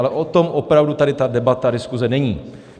Ale o tom opravdu tady ta debata, diskuze není.